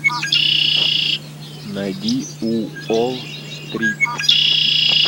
найди уолл стрит